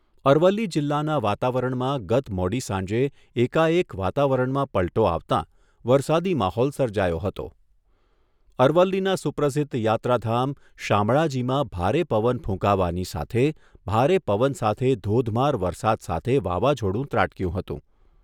અરવલ્લી જિલ્લાના વાતાવરણમાં ગત મોડી સાંજે એકાએક વાવાવરણમાં પલટો આવતાં વરસાદી માહોલ સર્જાયો હતો, અરવલ્લીના સુપ્રસિદ્ધ યાત્રાધામ શામળાજીમાં ભારે પવન ફૂંકાવાની સાથે ભારે પવન સાથે ધોધમાર વરસાદ સાથે વાવાઝોડું ત્રાટકર્યું હતું.